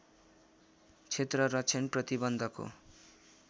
क्षेत्र रक्षण प्रतिबन्धको